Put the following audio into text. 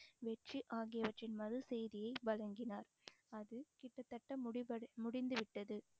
வெற்றி ஆகியவற்றின் மறு செய்தியை வழங்கினார் அது கிட்டத்தட்ட முடிவடை முடிந்து விட்டது